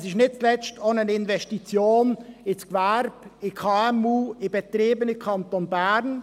Es ist nicht zuletzt auch eine Investition ins Gewerbe, in die KMU, in Betriebe im Kanton Bern.